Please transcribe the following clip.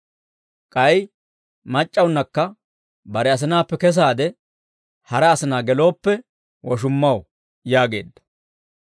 K'ay mac'c'awunakka bare asinaappe kesaade hara asinaa gelooppe woshummaw» yaageedda.